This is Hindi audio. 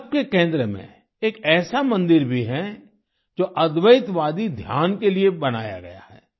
इन सबके केंद्र में एक ऐसा मंदिर भी है जो अद्वैतवादी ध्यान के लिए बनाया गया है